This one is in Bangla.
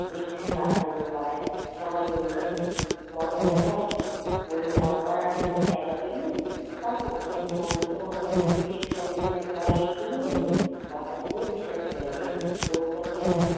বেশ কাজ হলো ও পাড়ায় সবাই বলল মরণদশা আর কি বলল মরবার আর জায়গা পেলিনে? মরলি তো মরলি শেষকালে কিনা গায়ে এসেই মরলি। বাতাসকেও বিশ্বাস নেই এখন রোগটা কি আর,